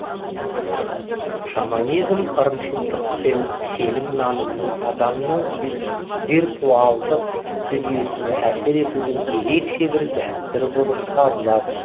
шаманизм ырымшылдық пен сенім нанымның адамның виртуалдық дүниесіне әсер етудің ерекше бір дәстүрі болып табылады